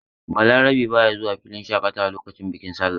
Balarabe ba ya zuwa filin shaƙatawa lokacin bikin sallah.